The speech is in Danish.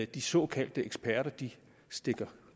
de såkaldte eksperter stikker